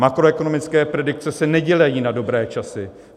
Makroekonomické predikce se nedělají na dobré časy.